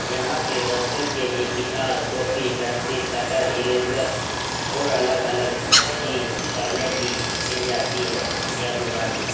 यहाँ पे बच्चों के लिए क़िताब कॉपी पेंसिल कटर इरेज़र और अलग-अलग चीज़ पढ़ने की मिल जाती है यह दुकान में --